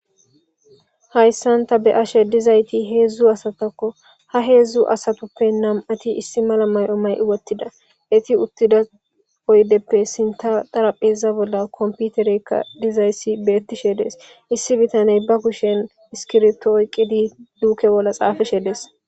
hayssan ta be ashe dizayti heedzdzu asatakko ha heedzdzu asatoppe nam7ati issi mala may7o may wottida eti uttida oydeppe sinta darapheza bolla komputereykka dizayssi beettishe dees issi bitaney ba kushen iskirto oyqidi duuke bolla xaafeshedees